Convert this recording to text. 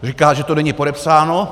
Říká, že to není podepsáno.